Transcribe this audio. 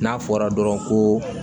N'a fɔra dɔrɔn ko